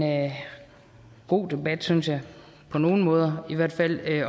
god debat synes jeg på nogle måder i hvert fald